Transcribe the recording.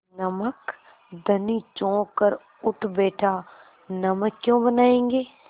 नमक धनी चौंक कर उठ बैठा नमक क्यों बनायेंगे